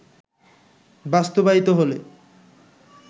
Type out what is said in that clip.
বাস্তবায়িত হলে